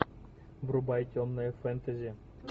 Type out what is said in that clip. врубай темное фэнтези